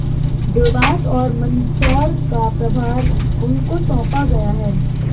देवास और मंदसौर का प्रभार उनको सौंपा गया है